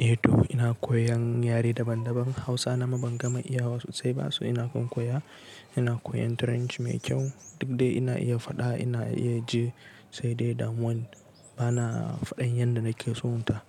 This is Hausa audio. Eh toh ina koyan yare daban daban Hausa na ma ban gama iyawa sosai ba so ina kan koya. Ina koyan Turanchi mai kyau, duk dai ina iya faɗa ina iya ji sai dai damuwan bana faɗan yanda nake son ta.